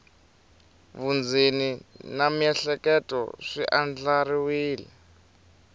vundzeni na miehleketo swi andlariwile